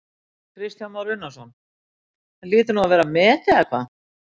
Kristján Már Unnarsson: Það hlýtur nú að vera met eða hvað?